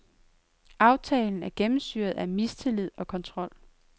Aftalen er gennemsyret af mistillid og kontrol.